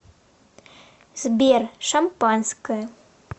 сбер шампанское